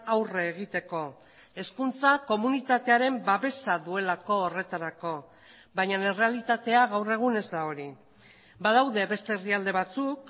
aurre egiteko hezkuntza komunitatearen babesa duelako horretarako baina errealitatea gaur egun ez da hori badaude beste herrialde batzuk